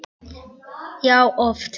Já, oft.